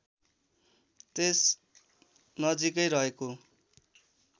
त्यस नजिकै रहेको